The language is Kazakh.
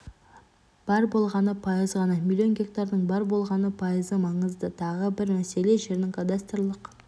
бар болғаны пайыз ғана миллион гектардың бар болғаны пайызы маңызды тағы бір мәселе жердің кадастрлық